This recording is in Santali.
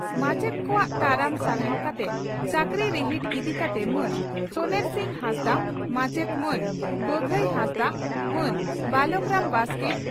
ᱢᱟᱪᱮᱛ ᱠᱚᱣᱟᱜ ᱛᱟᱲᱟᱢ ᱥᱟᱨᱦᱟᱣ ᱠᱟᱛᱮ ᱪᱟᱹᱠᱨᱤ ᱨᱤᱦᱤᱴ ᱤᱫᱤ ᱠᱟᱛᱮ ᱢᱟᱱ ᱥᱚᱱᱮᱨᱥᱤᱝ ᱦᱟᱸᱥᱫᱟᱜ, ᱢᱟᱪᱮᱛ ᱢᱟᱱ ᱵᱟᱜᱟᱭ ᱦᱟᱸᱥᱫᱟᱜ ᱢᱟᱱ ᱵᱟᱞᱚᱠᱨᱟᱢ ᱵᱟᱥᱠᱮ